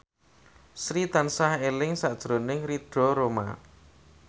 Sri tansah eling sakjroning Ridho Roma